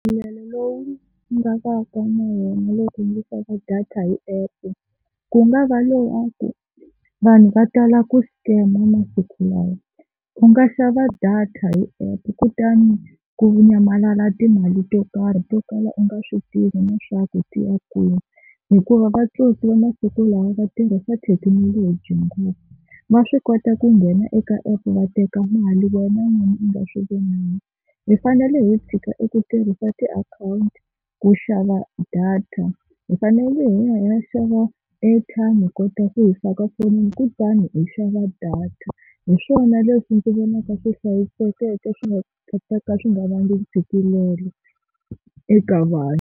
Ntshikelelo lowu ni nga vaka na wona loko ndzi xava data hi app ku nga va lowaku vanhu va tala ku scam masiku lawa. U nga xava data hi app kutani ku nyamalala timali to karhi to kala u nga swi tivi leswaku ti ya kwini, hikuva vatsotsi va masiku lawa va tirhisa thekinoloji ngopfu va swi kota ku nghena eka app va teka mali wena n'wini u nga swi vonanga. Hi fanele hi tshika eku tirhisa tiakhawunti ku xava data hi fanele hi ya xava airtime hi kota ku yisa ka fonini kutani hi xava data. Hi swona leswi ndzi vonaka swi hlayisekeke swi nga ta ka swi nga vangi ntshikelelo eka vanhu.